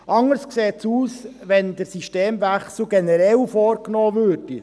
Anders sähe es aus, wenn der Systemwechsel generell vorgenommen würde.